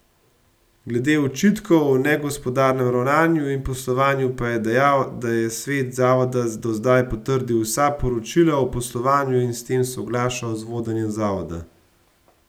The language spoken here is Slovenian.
Glede očitkov o negospodarnem ravnanju in poslovanju pa je dejal, da je svet zavoda do zdaj potrdil vsa poročila o poslovanju in s tem soglašal z vodenjem zavoda.